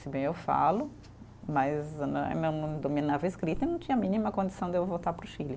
Se bem eu falo, mas né eu não não dominava a escrita, não tinha a mínima condição de eu voltar para o Chile.